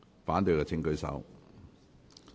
反對的請舉手。